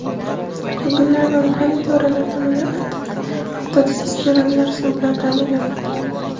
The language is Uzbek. Ko‘ngillilar va mahalliy idoralar tomonidan avtotsisternlar suv bilan ta’minlanmoqda.